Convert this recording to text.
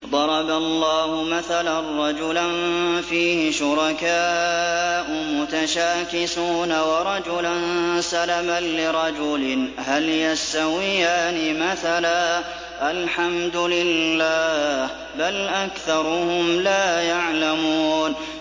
ضَرَبَ اللَّهُ مَثَلًا رَّجُلًا فِيهِ شُرَكَاءُ مُتَشَاكِسُونَ وَرَجُلًا سَلَمًا لِّرَجُلٍ هَلْ يَسْتَوِيَانِ مَثَلًا ۚ الْحَمْدُ لِلَّهِ ۚ بَلْ أَكْثَرُهُمْ لَا يَعْلَمُونَ